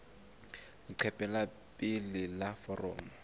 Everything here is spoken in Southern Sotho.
leqephe la pele la foromo